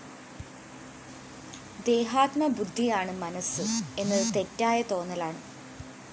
ദേഹാത്മബുദ്ധിയാണ് മനസ്സ് എന്നത് തെറ്റായ തോന്നലാണ്